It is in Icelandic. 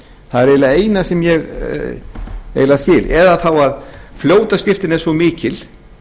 það er eiginlega það eina sem ég skil eða þá að fljótaskriftin er svo mikil